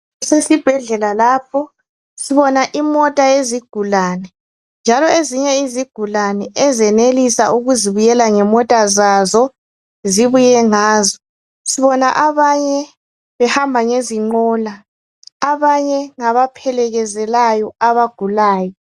Kusesibhedlela lapho, sibona imota yezigulane njalo ezinye izigulane ezenelisa ukuzibuyela ngemota zazo zibuye ngazo. Sibona abanye behamba ngezinqola, abanye ngabaphelekezelayo abagulayo.